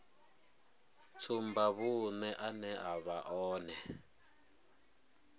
tsumbavhuṅe ane a vha one